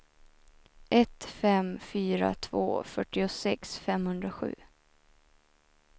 ett fem fyra två fyrtiosex femhundrasju